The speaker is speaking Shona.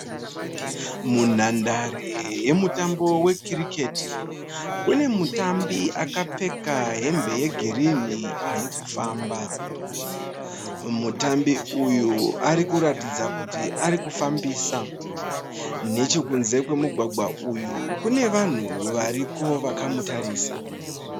munhandare yemutambo we kricketi munemutambi akapfeka hembe yegirini arikufamba. Mutambi uyu arikuratidza kuti arikufambisa , nechekunze kwemugwagwa uyu kunevanhu variko vakamutarisa